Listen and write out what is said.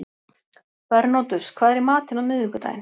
Bernódus, hvað er í matinn á miðvikudaginn?